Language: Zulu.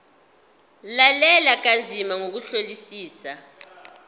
lalela kanzima ngokuhlolisisa